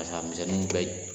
Ka saga misɛnniw gɛn ye.